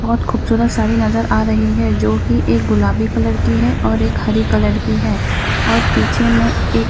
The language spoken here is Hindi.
बहुत खूबसूरत साड़ी नजर आ रही है जो कि एक गुलाबी कलर की है और एक हरी कलर की है और पीछे में एक --